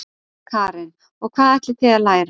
Karen: Og hvað ætlið þið að læra?